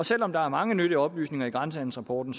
selv om der er mange nyttige oplysninger i grænsehandelsrapporten